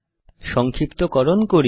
সংক্ষিপ্তকরণ করি